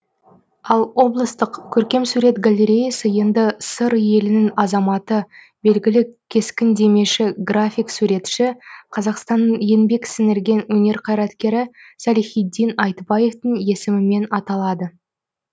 ал облыстық көркемсурет галлереясы енді сыр елінің азаматы белгілі кескіндемеші график суретші қазақстанның еңбек сіңірген өнер қайраткері салихитдин айтбаевтың есімімен аталады